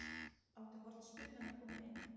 Átti hornspyrnan að koma inn?